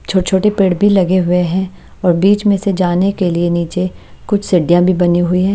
छोटे-छोटे पेड़ भी लगे हुए हैं और बीच में से जाने के लिए नीचे कुछ सिडियाँ भी बनी हुई है।